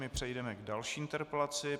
My přejdeme k další interpelaci.